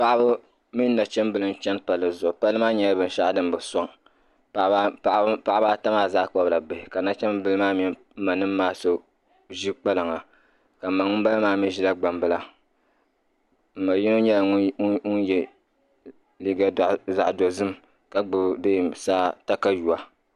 Paɣiba mini nachimbila n chani palli zuɣu. palli maa nyɛla. binshɛɣu din bi sɔŋ paɣiba ata maa zaa kpabla bihi. ,ka nachimbilimaa mini m ma nim maa so zi kpalaŋa ka m ma ŋum bala maa mi zila gbam bila m ma yimɔ nyɛla ŋun ye. liiga zaɣi do zim ka gbubi saa takayuya.